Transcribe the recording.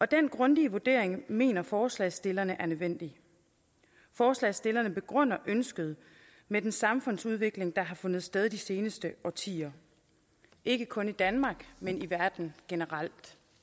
den grundige vurdering mener forslagsstillerne er nødvendig forslagsstillerne begrunder ønsket med den samfundsudvikling der har fundet sted i de seneste årtier ikke kun i danmark men i verden generelt